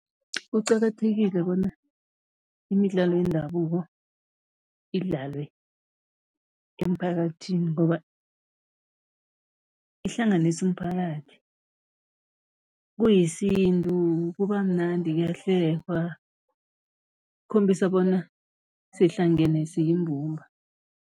Kuqakathekile bona imidlalo yendabuko idlalwe emphakathini ngoba ihlanganisa umphakathi, kuyisintu kuba mnandi, kuyahlekwa, ukukhombisa bona sihlangene, siyimbumba.